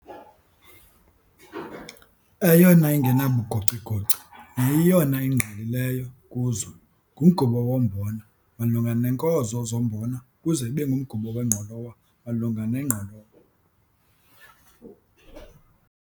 Eyona ingenabugocigoci neyiyona ingqalileyo kuzo ngumgubo wombona malunga neenkozo zombona ukuze ibe ngumgubo wengqolowa malunga nengqolowa.